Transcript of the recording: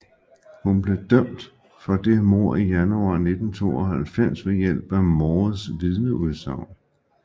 Hun blev dømt for det mord i januar 1992 ved hjælp at Moores vidneudsagn